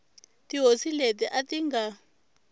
tihosi leti a ti nga